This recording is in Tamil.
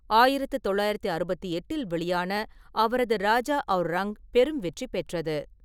ஆயிரத்து தொள்ளாயிரத்து அறுபத்து எட்டில் வெளியான அவரது ராஜா அவுர் ரங்க் பெரும் வெற்றி பெற்றது.